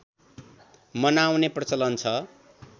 मनाउने प्रचलन छ